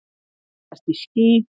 Breytast í ský.